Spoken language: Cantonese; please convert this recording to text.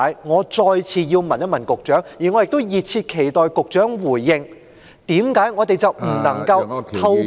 我再次問問局長，我亦熱切期待局長回應，為何我們不能夠透過......